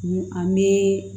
an bɛ